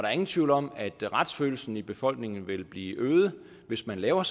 er ingen tvivl om at retsfølelsen i befolkningen vil blive øget hvis man laver